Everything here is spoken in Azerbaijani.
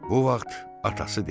Bu vaxt atası dedi: